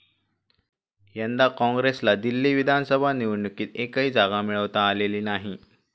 यंदा काँग्रेसला दिल्ली विधानसभा निवडणुकीत एकही जागा मिळवता आलेली नाही.